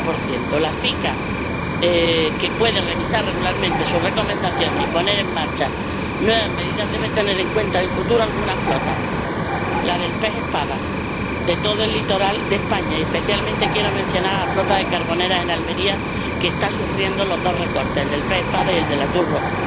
60 La CICAA, que puede revisar regularmente sus recomendaciones y poner en marcha nuevas medidas, debe tener en cuenta el futuro de algunas flotas la del pez espada de todo el litoral de España —y especialmente quiero mencionar la flota de Carboneras, en Almería, que está sufriendo los dos recortes, el del pez espada y el del atún rojo—.